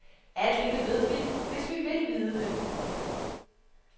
Alt dette ved vi, hvis vi vil vide det.